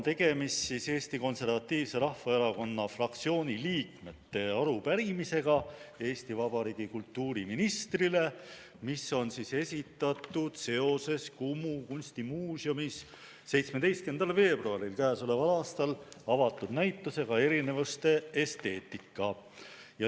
Tegemist on Eesti Konservatiivse Rahvaerakonna fraktsiooni liikmete arupärimisega Eesti Vabariigi kultuuriministrile ja see on esitatud seoses Kumu kunstimuuseumis 17. veebruaril k.a avatud näitusega "Erinevuste esteetika".